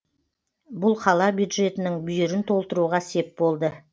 бұл қала бюджетінің бүйірін толтыруға сеп болды